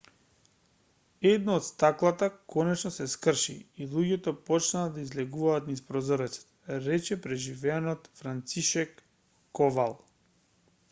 едно од стаклата конечено се скрши и луѓето почнаа да излегуваат низ прозорец рече преживеаниот францишек ковал